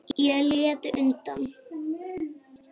Ég læt undan.